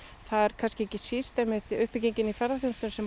það er kannski ekki síst einmitt uppbyggingin í ferðaþjónustunni sem